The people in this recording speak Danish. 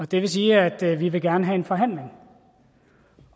det vil sige at vi gerne vil have en forhandling